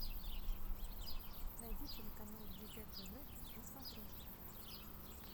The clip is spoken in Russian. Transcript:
найди телеканал егэ тв на смотрешке